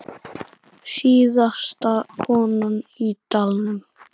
Síðasta konan í dalnum